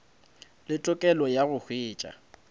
le tokelo ya go hwetša